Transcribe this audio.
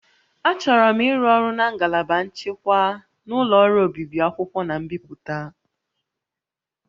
Achọrọ m ịrụ ọrụ na ngalaba nchịkwa na ụlọ ọrụ obibi akwụkwọ na mbipụta